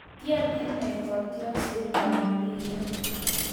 kitiem inne kotiorsetab mbiret